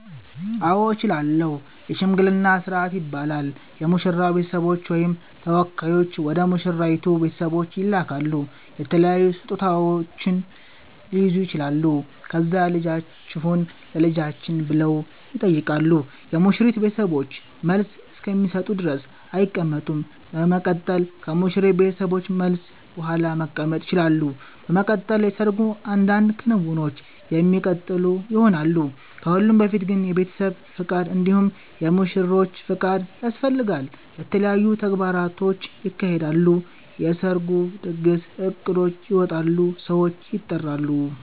አዎ እችላለሁ የሽምግልና ስርአት ይባላል የሙሽራዉ ቤተሰቦች ወይም ተወካዮች ወደ ሙሽራይቱ ቤተሰቦች ይላካሉ የተለያዩ ስጦታዉች ሊይዙ ይችላሉ ከዛ ልጃችሁን ለልጃችን ብለዉ ይጠይቃሉ የሙሽሪት ቤተሰቦችን መልስ እስከሚሰጡ ድረስ አይቀመጡም በመቀጠል ከሙሽሪት ቤተሰቦች መልስ ቡሃላ መቀመጥ ይቸላሉ። በመቀጠል የሰርጉ አንዳንድ ክንዉኖች የሚቀጥሉ ይሆናል። ከሁሉም በፊት ግን የቤተሰብ ፍቃድ እንዲሁም የሙሽሮቹ ፍቃድ ያስፈልጋል። የተለያዩ ተግባራቶች ይካሄዳሉ የሰርጉ ድግስ እቅዶች ይወጣሉ ሰዎች ይጠራሉ